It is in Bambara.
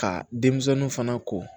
Ka denmisɛnninw fana ko